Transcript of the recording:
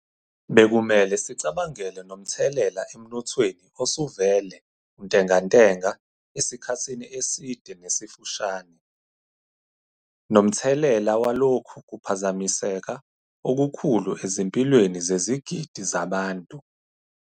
Bekumele sicabangele nomthelela emnothweni osuvele untengantenga esikhathini eside nesifushane, nomthelela walokhu kuphazamiseka okukhulu ezimpilweni zezigidi zabantu.